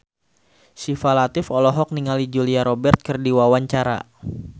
Syifa Latief olohok ningali Julia Robert keur diwawancara